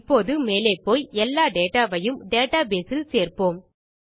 இப்போது மேலே போய் எல்லா டேட்டா வையும் டேட்டா பேஸ் இல் சேர்ப்போம்